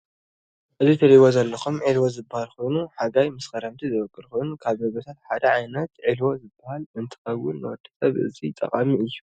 እዚ ትርኢዎ ዘለኩም ዒልዎ ዝባሃል ኮይኑ ሓጋይ ምስ ክረምቲ ዝወቅል ኮይኑ ካብ ምግብታት ሓደ ዓይነት ዒልዎ ዝባሃል እንትከውን ንወድሰብ አዚዩ ጠቃሚ እዪ።